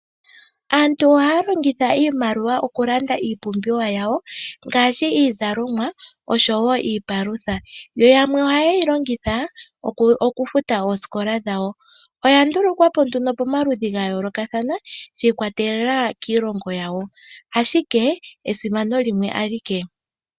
Aantu ohaya longitha iimaliwa okulanda iipumbiwa yawo ngaashi iizalomwa oshowo iipalutha. Yo yamwe ohaye yi longitha okufuta oosikola dhawo. Oya ndulukwa po nduno pamaludhi ga yoolokathana, shi ikwatelela kiilongo yawo, ashike esimano limwe alike.